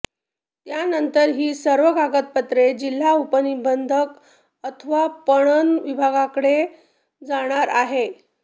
त्यानंतर ही सर्व कागदपत्रे जिल्हा उपनिबंधक अथवा पणन विभागाकडे जाणार आहेत